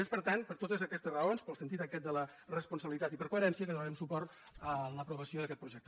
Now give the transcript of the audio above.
és per tant per totes aquestes raons pel sentit aquest de la responsabilitat i per coherència que donarem suport a l’aprovació d’aquest projecte